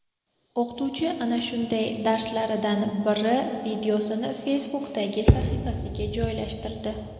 O‘qituvchi ana shunday darslaridan biri videosini Facebook’dagi sahifasiga joylashtirdi.